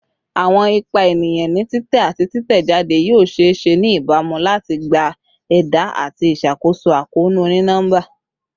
Awọn ipa eniyan ni titẹ ati titẹjade yoo ṣee ṣe ni ibamu lati gba ẹda ati iṣakoso akoonu oni-nọmba